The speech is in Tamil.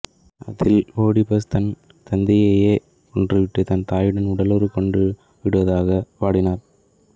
அதில் ஓடிபஸ் தன் தந்தையையே கொன்றுவிட்டு தன் தாயுடன் உடலுறுவு கொண்டுவிடுவதாக பாடினார்